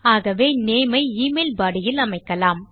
ஆகவே நேம் ஐ email body இல் அமைக்கலாம்